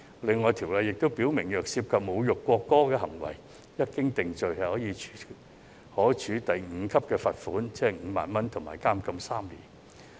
此外，《條例草案》亦訂明，侮辱國歌的行為，一經定罪，可處第5級罰款及監禁3年。